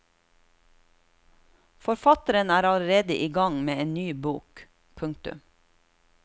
Forfatteren er allerede i gang med en ny bok. punktum